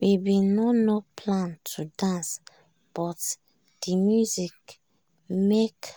we bin no no plan to dance but de music make